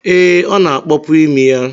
Ee, ọ na-akpọpu imi ya?